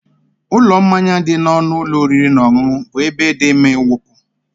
Ụlọ mmanya dị n'ọnụ ụlọ oriri na ọṅụṅụ bụ ebe dị mma ịwụpụ.